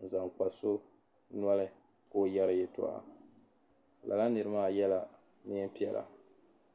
n zaŋ kpa so nɔli ka ɔ yari yatoɣa la la niri maa yela neen' piɛla